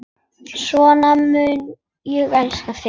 Svona mun ég elska þig.